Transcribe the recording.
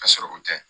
Ka sɔrɔ u tɛ